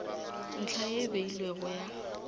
ntlha ye e beilwego ya